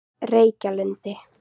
Reykjalundi